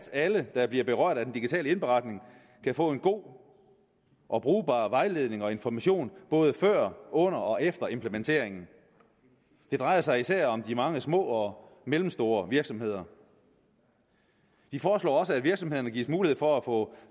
alle der bliver berørt af den digitale indberetning bør få en god og brugbar vejledning og information både før under og efter implementeringen det drejer sig især om de mange små og mellemstore virksomheder de foreslår også at virksomhederne gives mulighed for at få